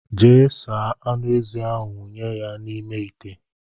Jee saa aṅụ ezi ahụ wunye n' ime ite!!!!